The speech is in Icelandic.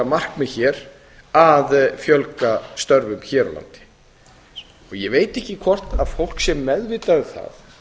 markmið hér að fjölga störfum hér á landi ég veit ekki hvort fólk er meðvitað um